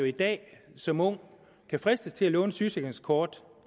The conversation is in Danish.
i dag som ung kan fristes til at låne et sygesikringskort